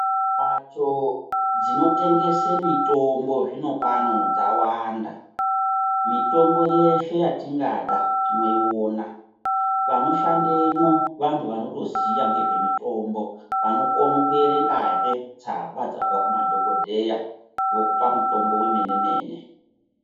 Mbatso dzinotengesa mitimbo zvinopano dzawanda. Mitombo yeshe yatingada tinoiona. Vanoshandemwo vantu vanotoziya ngezvemutombo, vanokonazve kuerengazve tsamba dzabva kumadhokodheya vokupa mutombo wemene - mene.